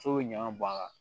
So bɛ ɲɔan bɔn a kan